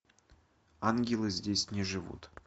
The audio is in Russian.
ангелы здесь не живут